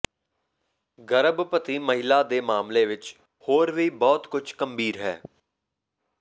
ਗਰਭਵਤੀ ਮਹਿਲਾ ਦੇ ਮਾਮਲੇ ਵਿਚ ਹੋਰ ਵੀ ਬਹੁਤ ਕੁਝ ਗੰਭੀਰ ਹੈ